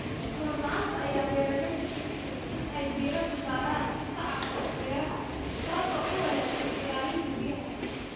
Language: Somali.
Roob la'aanta ayaa beeralayda ka dhigtay in ay diiradda saaraan tacabka beeraha, taas oo u wanaagsan ilaalinta biyaha.